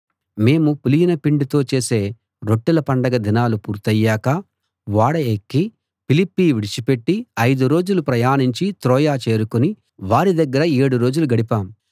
మేము పులియని పిండితో చేసే రొట్టెల పండగ దినాలు పూర్తయ్యాక ఓడ ఎక్కి ఫిలిప్పి విడిచి పెట్టి ఐదు రోజులు ప్రయాణించి త్రోయ చేరుకుని వారి దగ్గర ఏడు రోజులు గడిపాం